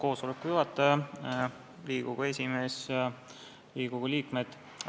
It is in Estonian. Austatud juhataja, Riigikogu esimees ja Riigikogu liikmed!